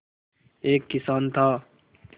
एक किसान था